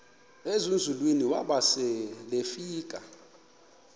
ezinzulwini waba selefika